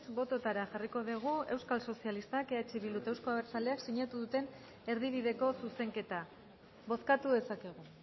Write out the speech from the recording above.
bototara jarriko dugu euskal sozialista eh bildu eta euzko abertzaleak sinatu duten erdibideko zuzenketa bozkatu dezakegu